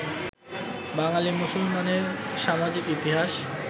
বাঙালি মুসলমানের সামাজিক ইতিহাস